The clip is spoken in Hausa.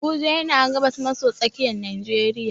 Abuja yana gabas maso tsakiyar najeriya.